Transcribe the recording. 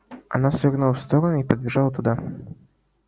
она свернула в сторону и подбежала туда